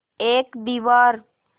एक दीवार